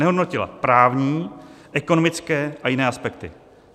Nehodnotila právní, ekonomické a jiné aspekty.